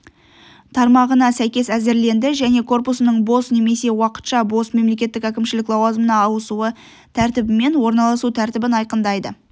тармағына сәйкес әзірленді және корпусының бос немесе уақытша бос мемлекеттік әкімшілік лауазымына ауысу тәртібімен орналасу тәртібін айқындайды